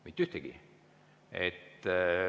Mitte ühtegi.